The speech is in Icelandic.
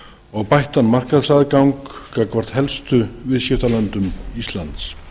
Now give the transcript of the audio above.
og bættan markaðsaðgang gagnvart helstu viðskiptalöndum íslands